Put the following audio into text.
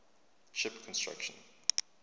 ship construction